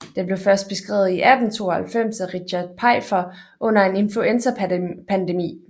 Den blev først beskrevet i 1892 af Richard Pfeiffer under en influenzapandemi